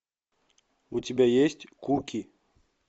у тебя есть куки